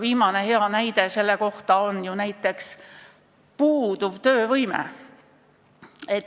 Viimane hea näide selle kohta on ju näiteks "puuduv töövõime".